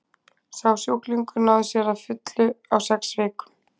Sá sjúklingur náði sér að fullu á sex vikum.